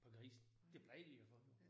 På grisen. Det plejer de at få jo